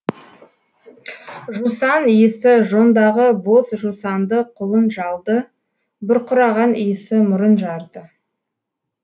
жусан иісіжондағы боз жусанды құлын жалды бұрқыраған иісі мұрын жарды